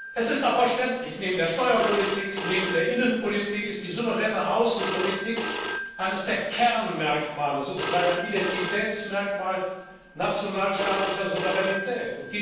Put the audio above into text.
Das ist auch verständlich, neben der Steuerpolitik, neben der Innenpolitik ist die souveräne Außenpolitik eines der Kernmerkmale sozusagen ein Identitätsmerkmal nationalstaatlicher Souveränität.